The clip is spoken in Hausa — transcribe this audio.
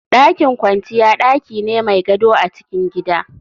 Dakin kwanciya daki ne mai gado a cikin gida